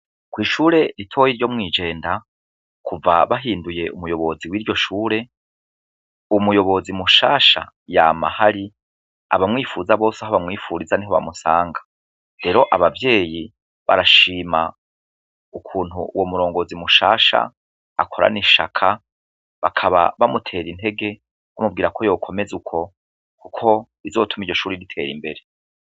Kw'ishure ritoya ryo mwijenda kuva bahinduye umuyobozi w'iryo shure, umuyobozi mushasha yama ahari, abamwipfuza bose aho bamwipfuriza niho bamusanga, rero Abavyeyi barashima ukuntu uwo murongozi mushasha akorana ishaka bakaba bamuter'intege